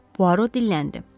Puaro dilləndi.